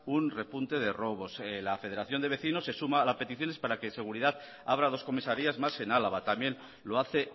un repunte de robos la federación de vecinos se suma a las peticiones para que seguridad abra dos comisarías más en álava también lo hace